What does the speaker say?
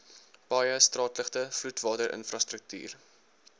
paaie straatligte vloedwaterinfrastruktuur